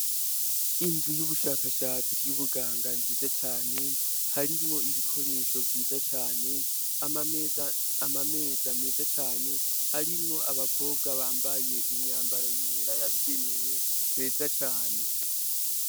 Inzu y'ubushakashatsi y'ubuganga nziza cane harimwo ibikoresho vyiza cane amameza meza cane harimwo abakobwa bambaye imyambaro yera yabigenewe meza cane.